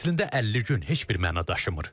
Əslində 50 gün heç bir məna daşımır.